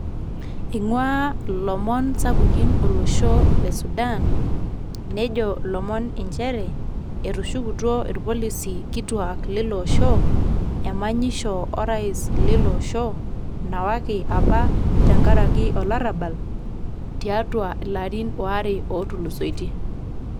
Iing'ua ilomon sapukin olosho le Sudan, nejo ilomon njere, etushukutuo irpololisi kituak liloosho emanyisho o rais liloosho, nawaki apa tenkaraki olarrabal, tiatua ilarin waare otulusoitie.